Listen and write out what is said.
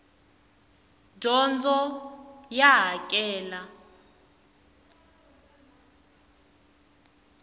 dyondzo ya hakela